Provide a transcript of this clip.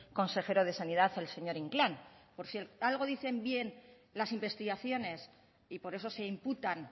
consejero de sanidad el señor inclán por cierto algo dicen bien las investigaciones y por eso se imputan